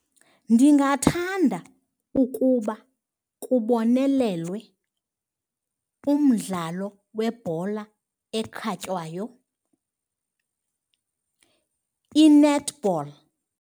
Ndingathanda ukuba kubonelelwe umdlalo webhola ekhatywayo, i-netball.